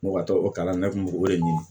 Mɔgɔ tɔw kalan ne kun b'o de ɲini